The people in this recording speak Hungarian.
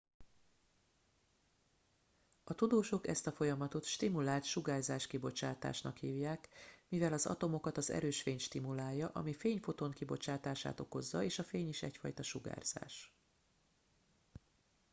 "a tudósok ezt a folyamatot "stimulált sugárzáskibocsátásnak" hívják mivel az atomokat az erős fény stimulálja ami fényfoton kibocsátását okozza és a fény is egyfajta sugárzás.